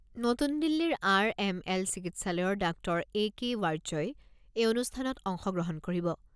নতুন দিল্লীৰ R M L চিকিৎসালয়ৰ ডাঃ এ কে ৱাৰ্য্যই এই অনুষ্ঠানত অংশ গ্ৰহণ কৰিব।